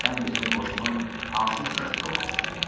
Sən bizim qoşunun hansı hissəsində olmaq istəyirsən?